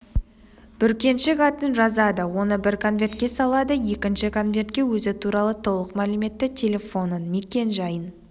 бүркеншік атын жазады оны бір конвертке салады екінші конвертке өзі туралы толық мәліметті телефонын мекен-жайын